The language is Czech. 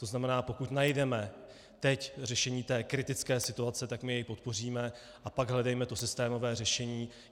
To znamená, pokud najdeme teď řešení té kritické situace, tak my jej podpoříme, a pak hledejme to systémové řešení.